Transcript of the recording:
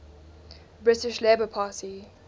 british labour party